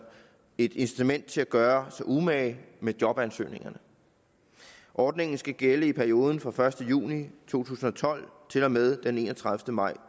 et incitament til at gøre sig umage med jobansøgningerne ordningen skal gælde i perioden fra den første juni to tusind og tolv til og med den enogtredivete maj